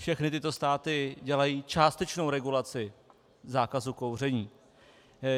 Všechny tyto státy dělají částečnou regulaci zákazu kouření.